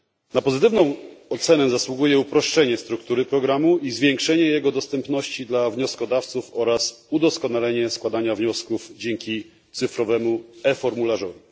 Na pozytywną ocenę zasługuje uproszczenie struktury programu i zwiększenie jego dostępności dla wnioskodawców oraz udoskonalenie składania wniosków dzięki cyfrowemu e formularzowi.